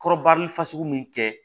Kɔrɔbari fasugu min kɛ